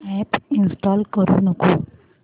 app install करू नको